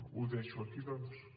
ho deixo aquí doncs